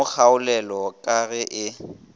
mo kgaolele ka ge e